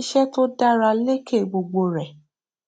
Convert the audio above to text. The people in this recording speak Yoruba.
iṣẹ tó dára lékè gbogbo rẹ